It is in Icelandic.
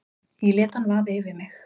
Ég lét hann vaða yfir mig.